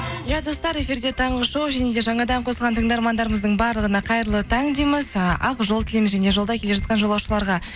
иә достар эфирде таңғы шоу және де жаңадан қосылған тыңдармандарымыздың барлығына қайырлы таң дейміз ііі ақ жол тілейміз және жолда келе жатқан жолаушыларға